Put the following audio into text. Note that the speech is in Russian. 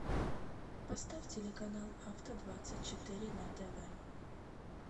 поставь телеканал авто двадцать четыре на тв